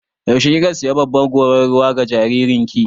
Yaushe kika sayi babbar gorar ruwa ga jaririn ki?